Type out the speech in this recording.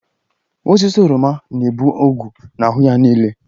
Osisi oroma na-ebu ogwu na-ahụ ya niile